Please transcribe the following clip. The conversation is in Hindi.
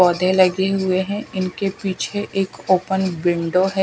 पौधे लगे हुए हैं इनके पीछे एक ओपन विंडो है।